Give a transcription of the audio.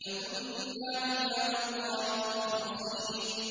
لَكُنَّا عِبَادَ اللَّهِ الْمُخْلَصِينَ